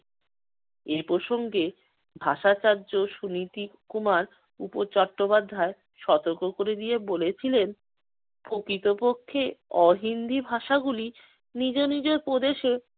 এই প্রসঙ্গে ভাষাচার্য সুনীতি কুমার উপ~ চট্টোপধ্যায় সতর্ক করে দিয়ে বলেছিলেন, প্রকৃতপক্ষে অহিন্দি ভাষাগুলি নিজ নিজ প্রদেশে